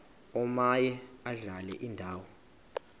omaye adlale indawo